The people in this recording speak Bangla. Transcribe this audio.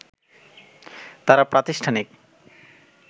তারা প্রাতিষ্ঠানিক